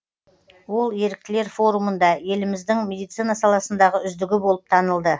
ол еріктілер форумында еліміздің медицина саласындағы үздігі болып танылды